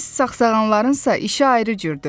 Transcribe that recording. Biz sağsağanlarınsa işi ayrı cürdür.